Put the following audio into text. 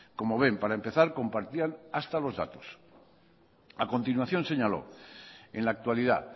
como ven para empezar compartían hasta los datos a continuación señaló en la actualidad